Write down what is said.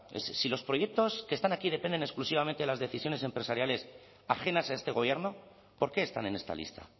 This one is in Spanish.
si los proyectos que están aquí dependen exclusivamente de las decisiones empresariales ajenas a este gobierno porque están en esta lista